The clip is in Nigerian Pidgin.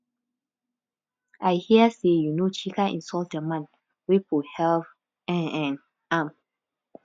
i hear say um chika insult the man wey for help um um am